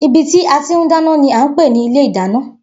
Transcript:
Ibi tí a tí a ti ń dáná ni à ń pè ní ilé ìdáná